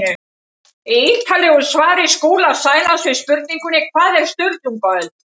Í ítarlegu svari Skúla Sælands við spurningunni Hvað var Sturlungaöld?